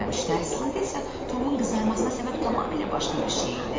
Əslində isə Tomun qızarmasına səbəb tamamilə başqa bir şey idi.